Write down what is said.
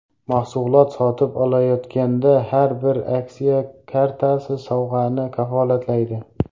Mahsulot sotib olayotganda har bir aksiya kartasi sovg‘ani kafolatlaydi!